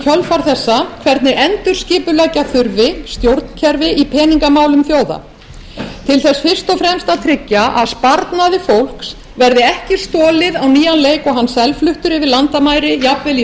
í kjölfar þessa hvernig endurskipuleggja þurfi stjórnkerfi í peningamálum þjóða til þess fyrst og fremst að tryggja að sparnaði fólks verði ekki stolið á nýjan leik og hann selfluttur yfir landamæri jafnvel í